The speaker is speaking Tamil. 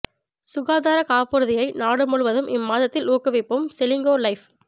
சுகாதாரக் காப்புறுதியை நாடு முழுதும் இம்மாதத்தில் ஊக்குவிக்கும் செலிங்கோ லைஃப்